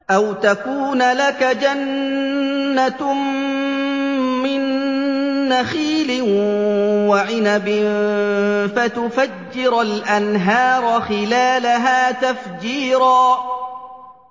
أَوْ تَكُونَ لَكَ جَنَّةٌ مِّن نَّخِيلٍ وَعِنَبٍ فَتُفَجِّرَ الْأَنْهَارَ خِلَالَهَا تَفْجِيرًا